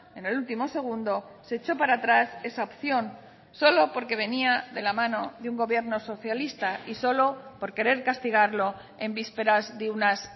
en el último segundo se echó para atrás esa opción solo porque venía de la mano de un gobierno socialista y solo por querer castigarlo en vísperas de unas